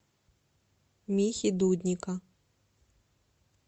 михи дудника